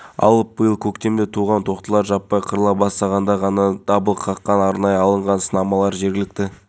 дейді қазақстан алюминийі құю-механикалық цехының қалыпшысы ерлан шантасов біздің кәсіпорын басшылығына алғыс айтқым келеді міне